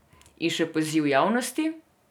In še poziv javnosti.